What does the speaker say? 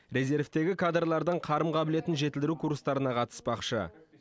резервтегі кадрлардың қарым қабілетін жетілдіру курстарына қатыспақшы